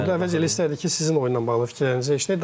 Əvvəl elə istərdik ki, sizin oyunla bağlı fikirlərinizi eşidək.